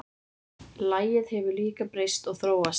Lagið hefur líka breyst og þróast.